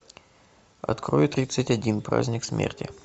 открой тридцать один праздник смерти